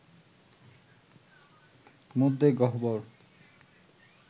মধ্যে গহ্বর